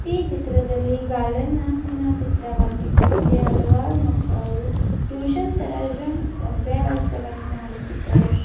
ಈ ಚಿತ್ರದಲ್ಲಿಗಾರ್ಡನ್ ನ ಚಿತ್ರವಾಗಿದ್ದು ಇಲ್ಲಿ ಹಲವಾರು ಮಕ್ಕಳು ಟ್ಯೂಷನ್ ತರಜನ್ ಅಭ್ಯಾಸವನ್ನು ಮಾಡುತ್ತಿದ್ದಾರೆ.